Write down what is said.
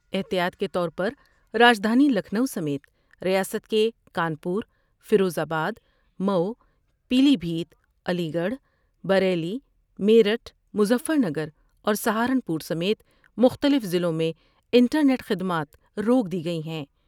احتیاط کے طور پر راجدھانی لکھنو سمیت ریاست کے Kanpur, Firozabad, Mau, Pilibhit Aligarh, Bareilly, Meerut Muzaffarnagar ور سہارنپور سمیت مختلف ، ضلعوں میں انٹرنیٹ خدمات روک دی گئی ہیں ۔